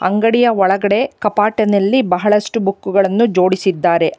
ಅಂಗಡಿಯ ಒಳಗಡೆ ಕಪಾಟಿನಲ್ಲಿ ಬಹಳಷ್ಟು ಬುಕ್ಕುಗಳನ್ನು ಜೋಡಿಸಿದ್ದಾರೆ.